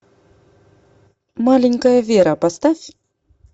маленькая вера поставь